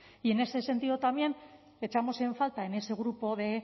y en ese sentido también echamos en falta en ese grupo de